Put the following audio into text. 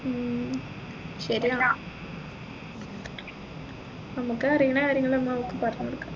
ഉം ശരിയാ നമ്മക്ക് അറിയുന്ന കാര്യങ്ങൾ നമ്മൾ അവൾക്ക് പറഞ്ഞുകൊടുക്കാം